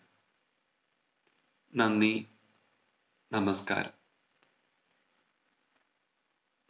നന്ദി നമസ്ക്കാരം